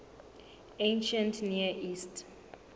ancient near east